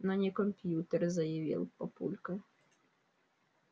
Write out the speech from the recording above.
но не компьютер заявил папулька